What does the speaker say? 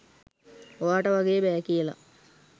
ඔයාට වගේ බෑ කියලා.